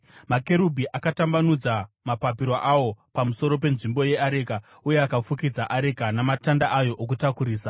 Makerubhi akatambanudza mapapiro awo pamusoro penzvimbo yeareka uye akafukidza areka namatanda ayo okutakurisa.